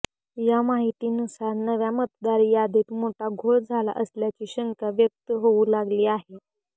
या माहितीनुसार नव्या मतदार यादीत मोठा घोळ झाला असल्याची शंका व्यक्त होऊ लागली आहे